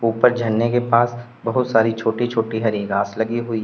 ऊपर झरने के पास बहुत सारी छोटी छोटी हरी घास लगी हुई है।